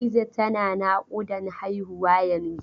Hadiza tana naƙudan haihuwa yanzun.